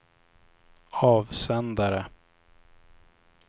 avsändare